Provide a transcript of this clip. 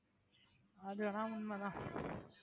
அதுவென உண்மைதான்